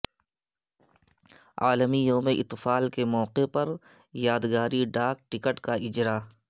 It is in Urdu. عالمی یوم اطفال کے موقع پر یادگاری ڈاک ٹکٹ کا اجراء